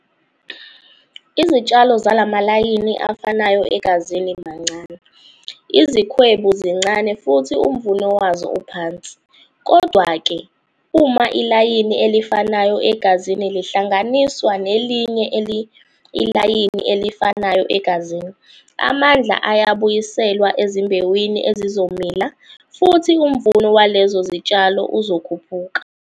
Izitshalo zala malayini afanayo egazini mancane, izikhwebu zincane futhi umvuno wazo uphansi. Kodwa-ke, uma ilayini elifanayo egazini lihlanganiswa nelinye ilayini elifanayo egazini, amandla ayabuyiselwa ezimbewini ezizomila futhi umvuno walezo zitshalo uzokhuphuka.